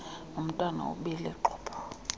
nantwana ubile xhopho